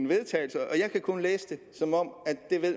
vedtagelse jeg kan kun læse det som om